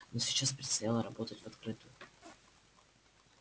но сейчас предстояло работать в открытую